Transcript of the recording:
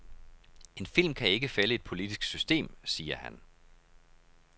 En film kan ikke fælde et politisk system, siger han.